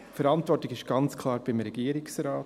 Die Verantwortung ist ganz klar beim Regierungsrat.